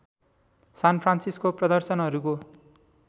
San Francisco प्रदर्शनहरूको